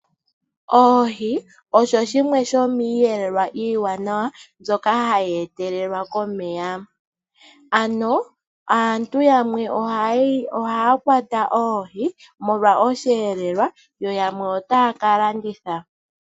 Oohi odho dhimwe dho miiyelelwa iiwanawa mbyoka hayi etelelwa komeya, ano aantu yamwe ohaya kwata oohi molwa oshiyeelelwa, yo yamwe otaya ka landitha.